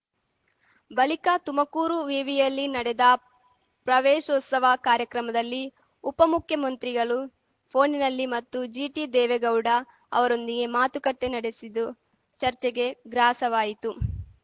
ಬಳಿಕ ತುಮಕೂರು ವಿವಿಯಲ್ಲಿ ನಡೆದ ಪ್ರವೇಶೋತ್ಸವ ಕಾರ್ಯಕ್ರಮದಲ್ಲಿ ಉಪಮುಖ್ಯಮಂತ್ರಿಗಳು ಫೋನಿನಲ್ಲಿ ಮತ್ತು ಜಿಟಿದೇವೇಗೌಡ ಅವರೊಂದಿಗೆ ಮಾತುಕತೆ ನಡೆಸಿದ್ದು ಚರ್ಚೆಗೆ ಗ್ರಾಸವಾಯಿತು